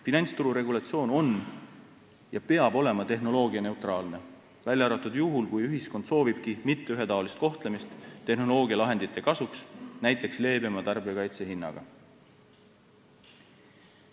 Finantsturu regulatsioon on ja peab olema tehnoloogianeutraalne, välja arvatud juhul, kui ühiskond soovibki mitteühetaolist kohtlemist tehnoloogialahendite kasuks, näiteks leebema tarbijakaitse hinnaga.